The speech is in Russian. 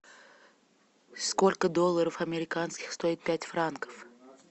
сколько долларов американских стоит пять франков